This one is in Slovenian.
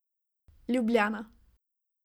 Ljubljana.